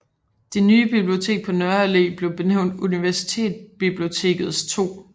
Det nye bibliotek på Nørre Allé blev benævnt Universitetsbibliotekets 2